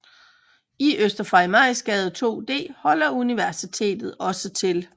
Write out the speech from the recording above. I Øster Farimagsgade 2D holder Universitetet også til